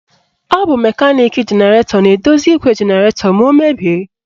Ọ bụ mekaniki jenaratọ na-edozi igwe jenaratọ ma o mebie.